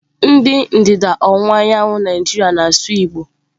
Ndị ndịda ọwụwa anyanwụ Naijiria na-asụ Igbo.